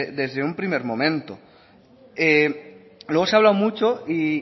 desde un primer momento luego se ha hablado mucho y